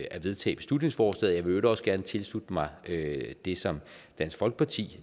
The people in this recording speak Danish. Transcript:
at vedtage beslutningsforslaget i øvrigt også gerne tilslutte mig det som dansk folkeparti